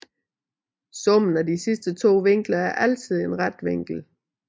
Summen af de sidste to vinkler er altid en ret vinkel